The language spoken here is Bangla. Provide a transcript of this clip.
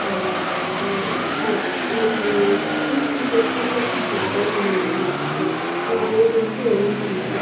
উমমম আ এ এক--এখানে সুসজ্জিত একটি বাগান মনে হচ্ছে বাগানের একটি অংশ এটি।